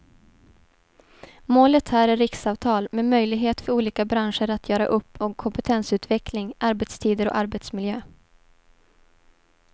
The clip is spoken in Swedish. Målet här är riksavtal med möjlighet för olika branscher att göra upp om kompetensutveckling, arbetstider och arbetsmiljö.